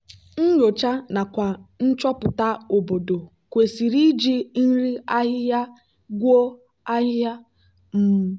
nyocha nakwa nchopụta obodo kwesịrị iji nri ahịhịa gwuo ahịhịa. um